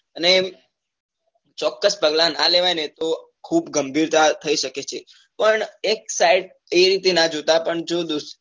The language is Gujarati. અને ચોક્કસ પગલા નાં લેવાય તો ખુબ ગંભીરતા થઇ સકે છે પણ એક side એ રીતે નાં જોતા પણ જો